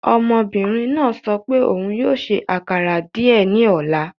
Ọmọbinrin naa sọ pe oun yoo ṣe akara diẹ ni ọla